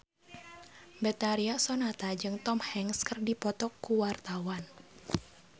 Betharia Sonata jeung Tom Hanks keur dipoto ku wartawan